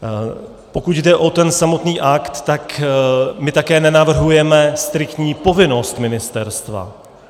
Pokud jde o ten samotný akt, tak my také nenavrhujeme striktní povinnost ministerstva.